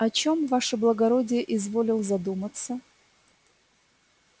о чём ваше благородие изволил задуматься